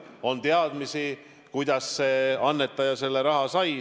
On teadmisi, kuidas see annetaja selle raha sai.